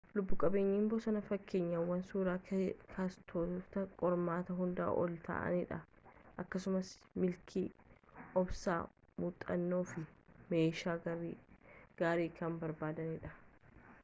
lubbu-qabeeyyiin bosonaa fakkeenyawwan suuraa kaastotatti qormaata hundaan olii ta'anidha akkasumas milkii obsa muuxannoo fi meeshaa gaarii kan barbaadanidha